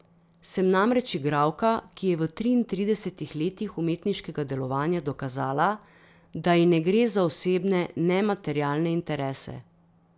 Sem namreč igralka, ki je v triintridesetih letih umetniškega delovanja dokazala, da ji ne gre za osebne ne materialne interese.